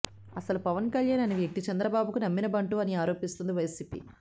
అసలు పవన్ కళ్యాణ్ అనే వ్యక్తి చంద్రబాబుకు నమ్మినబంటు అని ఆరోపిస్తుంది వైసీపీ